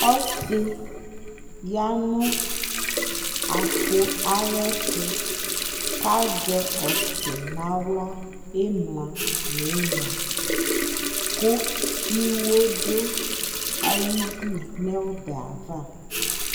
ɔsii yanʋ apʋ ayɛtʋ kʋ azɛ ɔsi nʋ ala nʋ imla nʋ ina kʋ iwɔ dʋ ayidʋ nʋ ɔbɛ aɣa